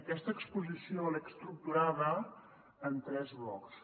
aquesta exposició l’he estructurada en tres blocs